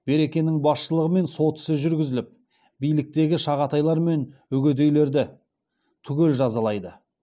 берекенің басшылығымен солтүсі жүргізіліп биліктегі шағатайлармен үгідейлерді түгел жазалайды